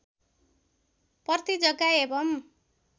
पर्ती जग्गा एवं